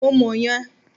Mo mọ̀ yẹn.